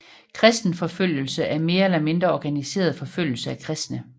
Kristenforfølgelse er mere eller mindre organiseret forfølgelse af kristne